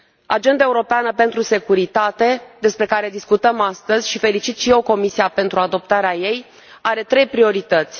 Agenda europeană privind securitatea, despre care discutăm astăzi, și felicit și eu Comisia pentru adoptarea ei, are trei priorități.